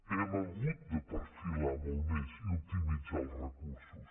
hem hagut de perfilar molt més i optimitzar els recursos